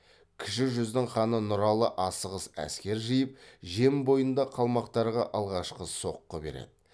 кіші жүздің ханы нұралы асығыс әскер жиып жем бойында қалмақтарға алғашқы соққы береді